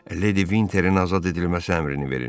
Ledi Vinterin azad edilməsi əmrini verin.